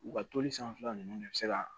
U ka toli sanfɛla ninnu de bɛ se ka